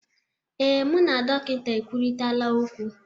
Ee, mụ na dọkịta ekwurịtaala okwu